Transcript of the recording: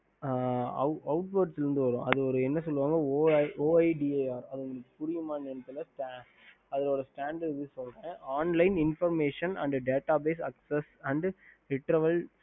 ஹம்